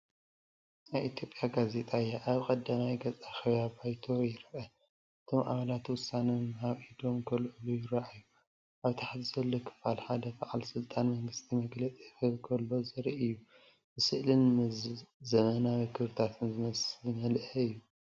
ናይ ኢትዮጵያ ጋዜጣ እያ። ኣብ ቀዳማይ ገጽ ኣኼባ ባይቶ ይርአ፤ እቶም ኣባላት ውሳነ ንምሃብ ኢዶም ከልዕሉ ይረኣዩ። ኣብ ታሕቲ ዘሎ ክፋል ሓደ በዓል ስልጣን መንግስቲ መግለጺ ክህብ ከሎ ዘርኢ እዩ። ብስእልን ዘመናዊ ክብርታትን ዝመልአ እዩ።